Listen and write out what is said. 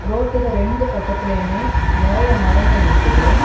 ரோட்டுக்கு ரெண்டு பக்கத்திலயுமே நெறைய மரங்கள் நிக்குது.